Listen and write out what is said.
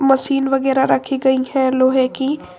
Machine वगैरा रखी गई है लोहे की।